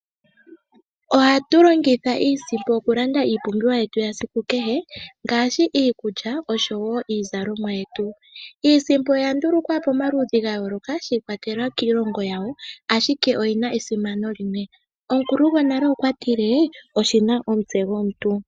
Ohatu longitha iisimpo okulanda iipumbiwa yetu yesiku kehe ngaashi iikulya oshowoo iizalomwa yetu . Iisimpo oya ndulukwa pomaludhi ga yoolokathana shi ikwatelela kiilongo yawo ashike oyina esimano limwe. Omukulu gwonale okwa tile oshina omutse gwomuntu.